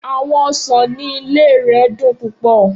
Awọn osan ni ile rẹ dun pupọ.